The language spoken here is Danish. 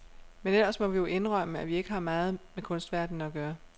Men ellers må vi jo indrømme, at vi ikke har meget med kunstverdenen at gøre.